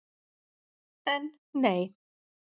En, nei!